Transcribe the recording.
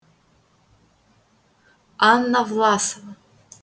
анна власова